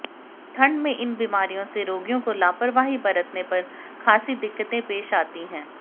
ठंड में इन बीमारियों से रोगियों को लापरवाही बरतने पर खासी दिक्कतें पेश आती हैं